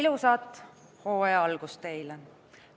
Ilusat hooaja algust teile!